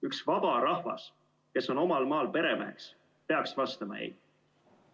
Üks vaba rahvas, kes on omal maal peremeheks, peaks vastama ei.